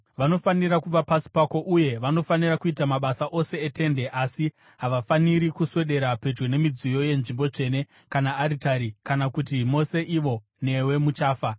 Vanofanira kuva pasi pako uye vanofanira kuita mabasa ose eTende asi havafaniri kuswedera pedyo nemidziyo yenzvimbo tsvene kana aritari, kana kuti mose ivo newe muchafa.